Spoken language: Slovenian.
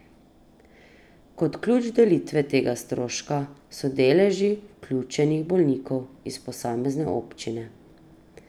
Kot ključ delitve tega stroška so deleži vključenih bolnikov iz posamezne občine.